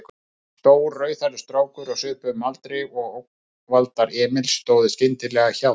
Stór, rauðhærður strákur á svipuðum aldri og ógnvaldar Emils stóð skyndilega hjá þeim.